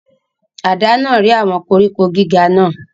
Àdá náà rẹ́ àwọn koríko gíga náà.